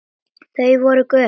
Þau voru gömul.